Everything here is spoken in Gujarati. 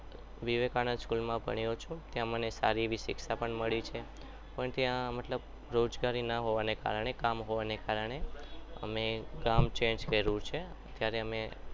વિવેકાનંદ school માં ભણેલો છું અને સારી એવી શિક્ષા પણ મળી છે પણ ત્યાં મતલબ રોજગારી ના હોવાના કામ ના હોવાના કારણે અમેં ગામ change કર્યું છે અત્યારે અમે